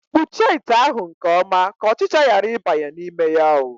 Kpuchie ite ahụ nke ọma ka ọchịcha ghara ịbanye ya n'ime oo!